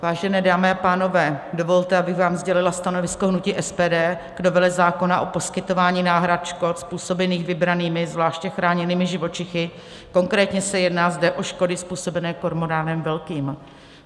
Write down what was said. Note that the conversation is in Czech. Vážené dámy a pánové, dovolte, abych vám sdělila stanovisko hnutí SPD k novele zákona o poskytování náhrad škod způsobených vybranými zvláště chráněnými živočichy, konkrétně se jedná zde o škody způsobené kormoránem velkým.